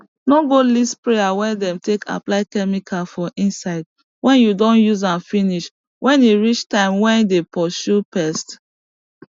no go leave sprayer wey dey take apply chemical for inside wen you don use am finish wen e reach time wey dey purshu pest